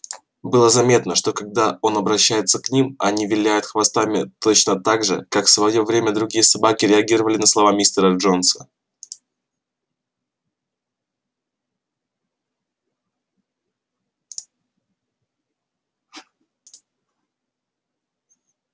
было заметно что когда он обращается к ним они виляют хвостами точно так же как в своё время другие собаки реагировали на слова мистера джонса